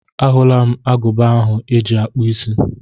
A hụla m agụba ahụ eji akpụ isí.